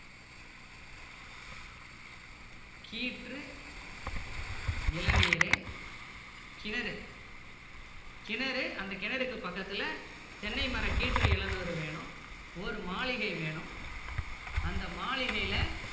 கீற்று இளநீரு கிணறு கிணறு அந்த கிணறுக்கு பக்கத்துல தென்னை மர கீற்று இளநீர் வேணும் ஒரு மாளிகை வேணும் அந்த மாளிகையில